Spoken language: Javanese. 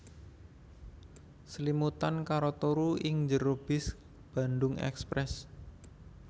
Slimutan karo turu ing jero bis Bandung Express